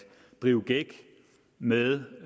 drive gæk med